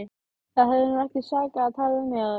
Það hefði nú ekki sakað að tala við mig áður!